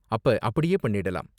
அப்ப அப்படியே பண்ணிடலாம்.